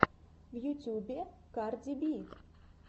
в ютьюбе карди би